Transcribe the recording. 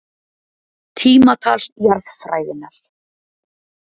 Tímatal jarðfræðinnar.